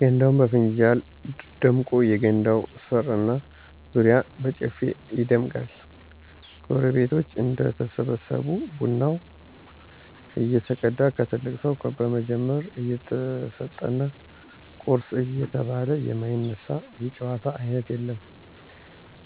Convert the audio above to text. ገንዳውም በፍንጃል ደምቆ የገንዳው ስር እና ዙሪያው በጨፌ ይደምቃል። ጎረቤቶች እንደተሰበሰቡ ቡናው እየተቀዳ ከትልቅ ሰው በመጀመር እየተሰጠና ቁርሱ እየተበላ የማይነሳ የጨዋታ አይነት የለም።